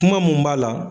Kuma mun b'a la